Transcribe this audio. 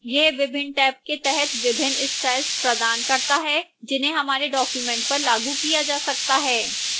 यह विभिन्न टैब के तहत विभिन्न styles प्रदान करता है जिन्हें हमारे document पर लागू किया जा सकता है